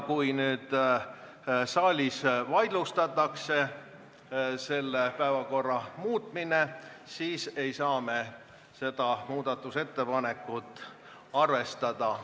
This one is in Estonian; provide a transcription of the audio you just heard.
Kui nüüd saalis vaidlustatakse päevakorra muutmine, siis ei saa me seda muudatusettepanekut arvestada.